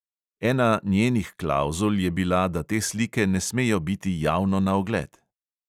Ena njenih klavzul je bila, da te slike ne smejo biti javno na ogled!